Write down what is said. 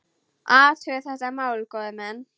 Athugið þetta mál, góðir menn!